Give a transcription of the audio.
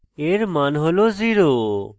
এর মান হল 0